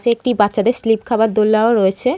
সে একটি বাচ্চাদের স্লিপ খাওয়ার দোলনাও রয়েছে।